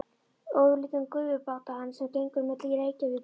Ofurlítinn gufubát á hann, sem gengur á milli Reykjavíkur og